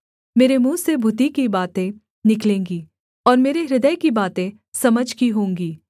मेरे मुँह से बुद्धि की बातें निकलेंगी और मेरे हृदय की बातें समझ की होंगी